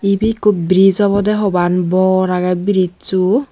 ebey ekko bridge obodey hopan bor agey bridso.